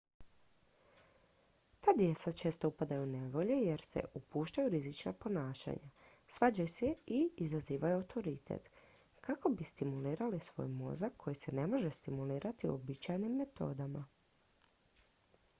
"ta djeca često upadaju u nevolje jer se "upuštaju u rizična ponašanja svađaju se i izazivaju autoritet" kako bi stimulirali svoj mozak koji se ne može stimulirati uobičajenim metodama.